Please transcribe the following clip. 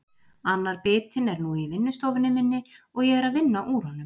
Annar bitinn er nú í vinnustofunni minni og ég er að vinna úr honum.